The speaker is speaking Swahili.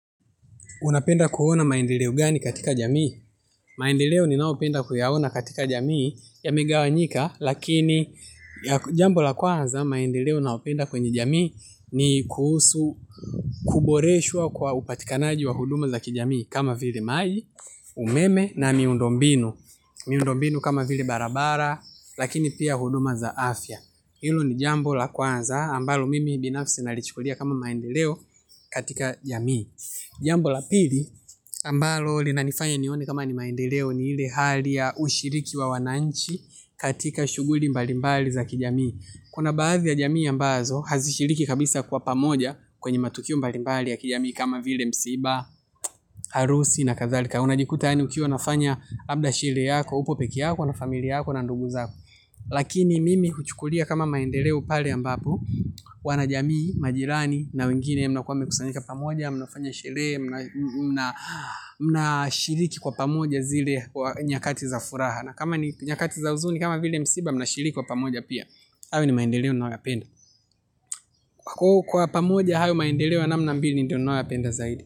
Unapenda kuona maendeleo gani katika jamii? Maendeleo ni naopenda kuyaona katika jamii ya me gawanyika, lakini jambo la kwanza maendeleo naopenda kwenye jamii ni kuhusu, kuboreshwa kwa upatikanaji wa huduma za kijamii kama vile maji, umeme na miundo mbinu. Miundo mbinu kama vile barabara, lakini pia huduma za afya. Hilo ni jambo la kwanza ambalo mimi binafsi nalichukulia kama maendeleo katika jamii. Jambo la pili ambalo lina nifanya nione kama ni maendeleo ni ile hali ya ushiriki wa wananchi katika shuguli mbalimbali za kijamii kuna baadhi ya jamii ambazo hazishiriki kabisa kwa pamoja kwenye matukio mbalimbali ya kijamii kama vile msiba, harusi na kadhalika. Unajikuta yaani ukiwa nafanya labda shelee yako, uko peke yako na familia yako na ndugu zako lakini mimi huchukulia kama maendeleo pale ambapo wanajamii, majirani na wengine mnao kuwa mekusanyika pamoja mnafanya shelee, mna shiriki kwa pamoja zile kwa nyakati za furaha na kama ni nyakati za huzuni, kama vile msiba mna shiriki kwa pamoja pia hayo ni maendeleo na yoyapenda kwa pamoja hayo maendeleo ya na mna mbili ndiyo na yoyapenda zaidi.